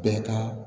Bɛɛ ka